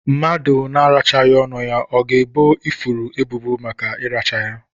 Mmadụ na arachaghi ọnụ ya, ọ ga ebọ ifuru ebubo màkà iracha ya?